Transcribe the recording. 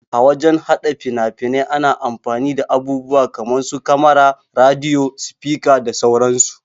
A wajan haɗa fina-fnai ana amfani da abubuwa kaman su kamara, rediyo, sifika da sauran su.